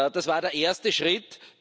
Das war der erste Schritt.